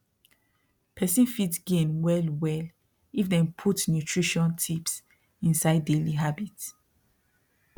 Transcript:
person fit gain well well if dem put nutrition tips inside daily habit